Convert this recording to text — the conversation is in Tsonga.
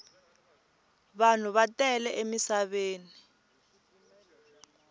vanhu va tele emisaveni